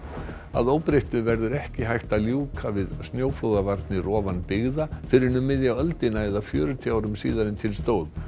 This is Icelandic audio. að óbreyttu verður ekki hægt að ljúka við snjóflóðavarnir ofan byggða fyrr en um miðja öldina eða fjörutíu árum síðar en til stóð